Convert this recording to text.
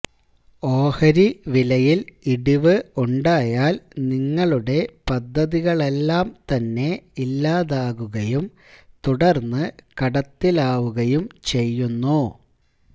ഓഹരി വിലയില് ഇടിവ് ഉണ്ടായാല് നിങ്ങളുടെ പദ്ധതികളെല്ലാം തന്നെ ഇല്ലാതാകുകയും തുടർന്ന് കടത്തിലാവുകയും ചെയ്യുന്നു